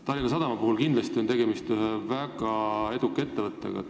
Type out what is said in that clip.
Tallinna Sadama näol on kindlasti tegemist ühe väga eduka ettevõttega.